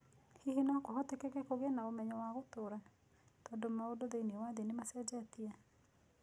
Hihi no kũhoteke kũgĩa na ũmenyo wa gũtũũra, tondũ maũndũ thĩinĩ wa thĩ nĩ macenjetie?